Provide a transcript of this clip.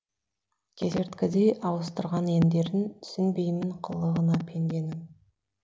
кесерткідей ауыстырған ендерін түсінбеймін қылығына пенденің